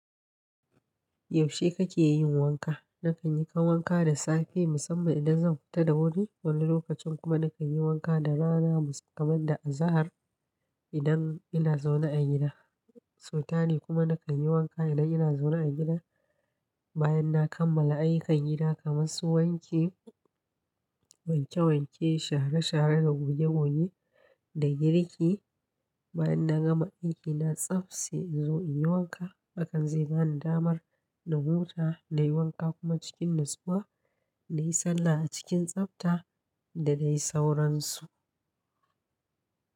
Yaushe kake yin wanka? Nakan yi wanka da safe musamman idan zan fita da wuri, wani lokacin kuma nakan yi wanka da rana kamar da azahar idan ina zaune a gida. Sutani kuma nakan yi wanka idan ina zaune a gida bayan na kammala ayyukan gida kamar su wanki wanke wanke, share share da goge goge, da girki. Bayan na gama aikina tsaftse in zo in yi wanka. Hakan zai bani damar na huta, na yi wanka kuma cikin natsuwa na yi sallah a cikin tsafta da dai sauransu.